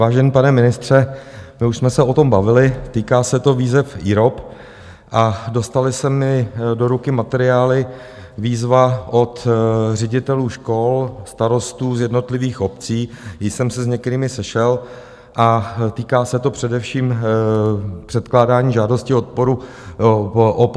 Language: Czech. Vážený pane ministře, my už jsme se o tom bavili, týká se to výzev IROP a dostaly se mi do ruky materiály Výzva od ředitelů škol, starostů z jednotlivých obcí, již jsem se s některými sešel, a týká se to především předkládání žádosti o podporu v rámci 111. výzvy IROP.